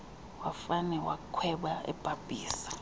wafane wakhweba ebhabhisa